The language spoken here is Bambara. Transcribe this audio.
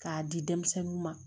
K'a di denmisɛnninw ma